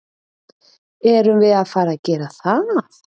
Erum við að fara að gera það?